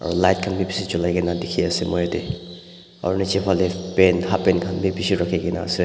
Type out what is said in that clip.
aro light kahn bi bishi jolai kaena dikhiase moi yatae aro nichae phalae pant halfpant khan bi bishi rakhi kaena ase.